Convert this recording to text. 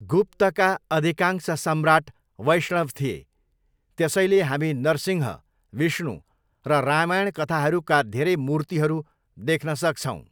गुप्तका अधिकांश सम्राट वैष्णव थिए, त्यसैले हामी नरसिंह, विष्णु र रामायण कथाहरूका धेरै मूर्तिहरू देख्न सक्छौँ।